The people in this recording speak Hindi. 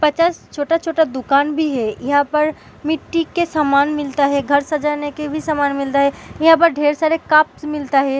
पचास छोटा-छोटा दुकान भी है यहाँ पर मिट्टी के सामान मिलता है घर सजाने के भी सामन मिलता है यहाँ पर ढेर सारे कप्स मिलता है।